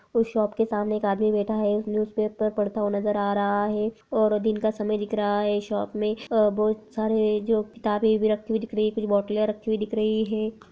उस शोप के सामने एक आदमी बैठ है एक न्यूज़पेपर पढ़ता हुआ नज़र आ रहा है और दिन का समय दिख रहा है शोप में और बहुत सारे जो किताबे भी रखी हुई दिख रही हैं। कुछ बोटलें रखी हुई दिख रही हैं।